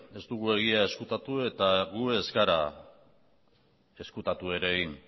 ez dugu egia ezkutatu eta gu ez gara ezkutatu ere egin